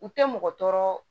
U tɛ mɔgɔ tɔɔrɔ